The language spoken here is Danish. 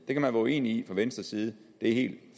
det kan man være uenig i fra venstres side det er helt